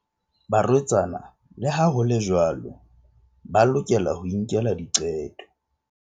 Barwetsana, le ha ho le jwalo, ba lokela ho inkela diqeto.